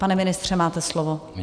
Pane ministře, máte slovo.